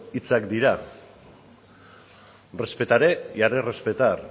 hitzak dira respetaré y haré respetar